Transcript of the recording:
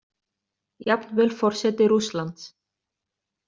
Jafnvel forseti Rússlands.